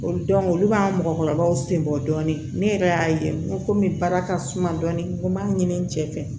O olu b'an mɔgɔkɔrɔbaw senbɔ dɔni ne yɛrɛ y'a ye n ko komi baara ka suma dɔɔnin b'a ɲini cɛ fɛ